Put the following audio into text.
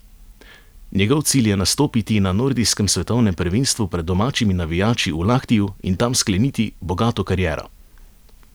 Njegov cilj je nastopiti na nordijskem svetovnem prvenstvu pred domačimi navijači v Lahtiju in tam skleniti bogato kariero.